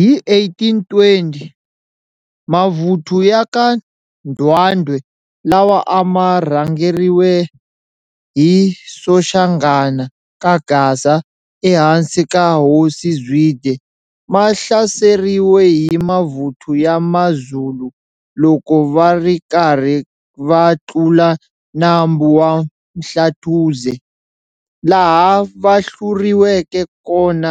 Hi 1820, mavuthu ya ka Ndwandwe lawa ama rhangeriwe hi Soshanghana ka Gasa ehansi ka hosi Zwide, mahlaseriwe hi mavuthu ya ma Zulu loko varikarhi va tlula nambu wa Mhlatuze, laha vahluriweke kona